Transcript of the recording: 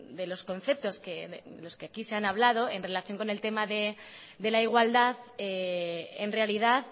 de los conceptos los que aquí se han hablado en relación con el tema de la igualdad en realidad